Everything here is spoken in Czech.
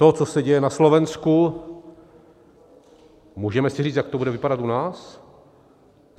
To, co se děje na Slovensku, můžeme si říct, jak to bude vypadat u nás?